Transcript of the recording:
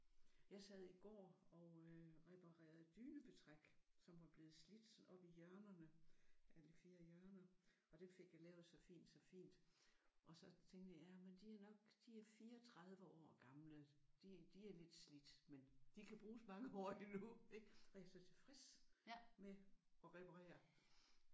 Jeg sad i går og øh reparerede dynebetræk som var blevet slidt oppe i hjørnerne alle 4 hjørner og det fik jeg lavet så fint så fint. Og så tænkte jeg jamen de er nok de er 34 år gamle. De er lidt slidt men de kan bruges mange år endnu ik? Og jeg var så tilfreds med at reparere